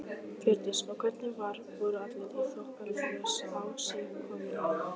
Hjördís: Og hvernig var, voru allir í þokkalegu ásigkomulagi?